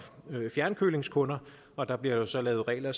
fjernkølingskunder og der bliver så lavet regler